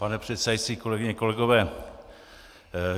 Pane předsedající, kolegyně, kolegové.